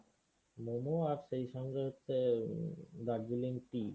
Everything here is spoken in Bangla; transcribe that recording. momo আর সেই সঙ্গে হচ্ছে দার্জিলিং tea.